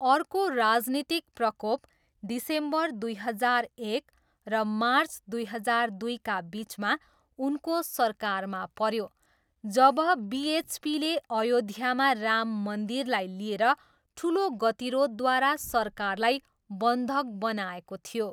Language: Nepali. अर्को राजनीतिक प्रकोप डिसेम्बर दुई हजार एक र मार्च दुई हजार दुईका बिचमा उनको सरकारमा पऱ्यो जब बिएचपीले अयोध्यामा राम मन्दिरलाई लिएर ठुलो गतिरोधद्वारा सरकारलाई बन्धक बनाएको थियो।